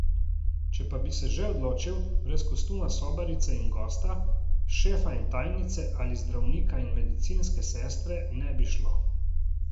Če pa bi se že odločil, brez kostuma sobarice in gosta, šefa in tajnice ali zdravnika in medicinske sestre ne bi šlo.